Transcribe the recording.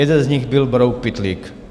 Jeden z nich byl brouk Pytlík.